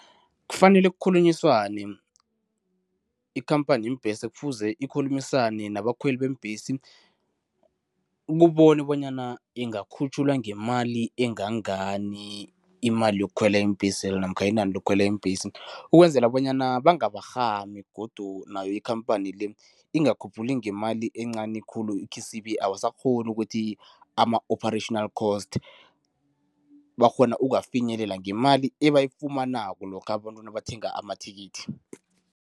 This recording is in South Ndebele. Kufanele kukhulunyiswane, ikhamphani yeembhesi kufuze ikhulumisane nabakhweli beembhesi, ukubona bonyana ingakhutjhulwa ngemali engangani imali yokukhwela iimbhesezi namkha inani lokukhwela iimbhesi. Ukwenzela bonyana bangabarhami godu nayo ikhamphani le, ingakhuphuli ngemali encani khulu ikhisibe abasakghoni ukuthi ama-operational cost bakghona ukuwafinyelela ngemali ebayifunako lokha abantu nabathenga amathikithi.